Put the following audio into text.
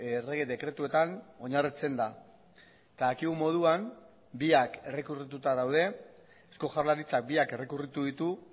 errege dekretuetan oinarritzen da eta dakigun moduan biak errekurrituta daude eusko jaurlaritzak biak errekurritu ditu